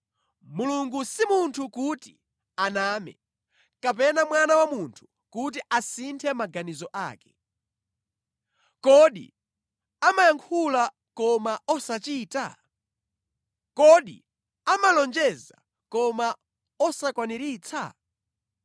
Mulungu si munthu kuti aname, kapena mwana wa munthu kuti asinthe maganizo ake. Kodi amayankhula koma osachita? Kodi amalonjeza koma osakwaniritsa?